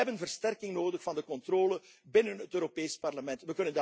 gebracht. We hebben versterking nodig van de controle binnen het Europees Parlement.